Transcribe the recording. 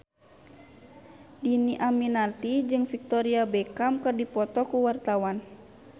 Dhini Aminarti jeung Victoria Beckham keur dipoto ku wartawan